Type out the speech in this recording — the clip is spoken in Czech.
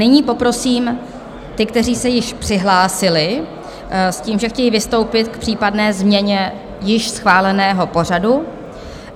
Nyní poprosím ty, kteří se již přihlásili s tím, že chtějí vystoupit k případné změně již schváleného pořadu.